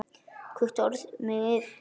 hvílíkt orð mig dynur yfir!